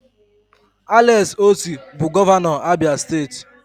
Alex Oti bụ gọvanọ Abia steeti